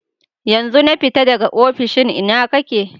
Yanzun na fita daga ofishin, ina ka ke?